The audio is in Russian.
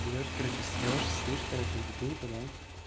берёшь короче срёшь ссышь короче в бутылку да